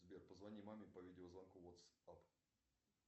сбер позвони маме по видеозвонку ватсап